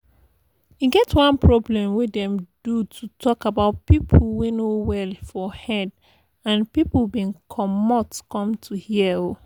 e get one program wey them do to talk about people wey no well fo head and people bin commot come to hear o.